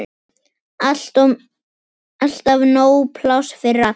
Alltaf nóg pláss fyrir alla.